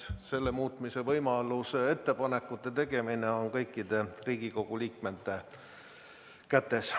Selle muutmise kohta ettepanekute tegemine on kõikide Riigikogu liikmete kätes.